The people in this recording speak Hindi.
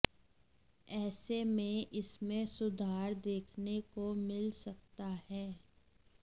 ऐसे में इसमें सुधार देखने को मिल सकता है